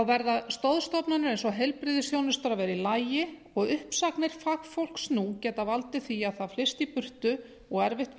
verða stoðstofnanir eins og heilbrigðisþjónusta að vera í lagi og uppsagnir fagfólks nú geta valdið því að það flyst í burtu og erfitt